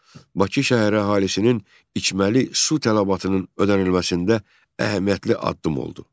Bu, Bakı şəhər əhalisinin içməli su tələbatının ödənilməsində əhəmiyyətli addım oldu.